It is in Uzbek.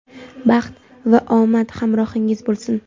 baxt va omad hamrohingiz bo‘lsin!.